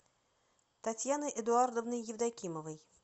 татьяной эдуардовной евдокимовой